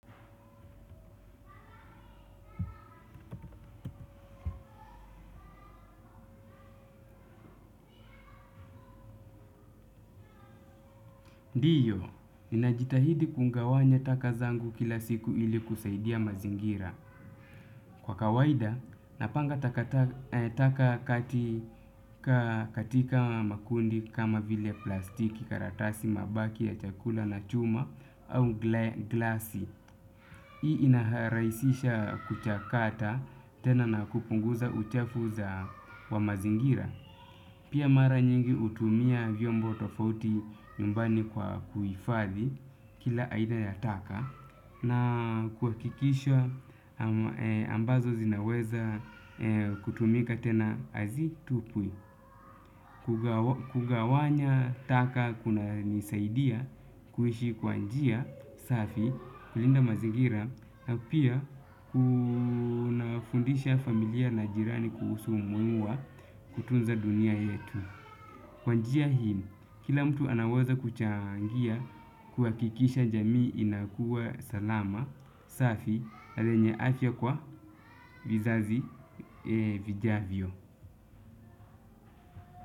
Ndiyo, ninajitahidi kungawanya taka zangu kila siku ili kusaidia mazingira. Kwa kawaida, napanga taka katika makundi kama vile plastiki karatasi mabaki ya chakula na chuma au glasi. Hii inaharaisisha kuchakata tena na kupunguza uchafu za wa mazingira. Pia mara nyingi hutumia vyombo tofauti nyumbani kwa kuhifadhi kila aina ya taka na kuhakikisha ambazo zinaweza kutumika tena azitupwi. Kugawanya taka kunanisaidia kuishi kwa njia safi kulinda mazingira na pia kunafundisha familia na jirani kuhusu umuhimu wa kutunza dunia yetu. Kwa njia hii kila mtu anaweza kuchangia kuhakikisha jamii inakua salama safi na lenye afya kwa vizazi vijavyo.